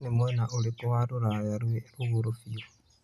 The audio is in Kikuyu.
nĩ mũena ũrikũ wa rũraya rwĩ rũguru biũ